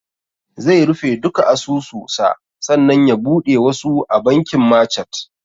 Zai rufe duka asusu sa sannan ya buɗe wasu a bankin machat